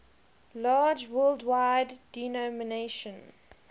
large worldwide denomination